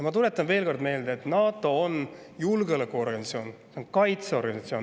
Ma tuletan veel kord meelde, et NATO on julgeolekuorganisatsioon, kaitseorganisatsioon.